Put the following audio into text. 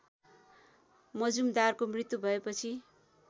मजुमदारको मृत्यु भएपछि